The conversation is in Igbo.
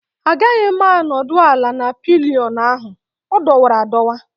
Agaghị m anọdụ ala na pillion ahụ, ọ dọwara adọwa